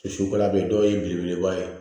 dɔw ye belebeleba ye